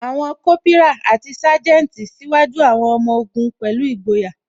Àwọn Kópírà àti Sanjeti ṣíwájú àwọn ọmọ ogun pẹ̀lú ìgboyà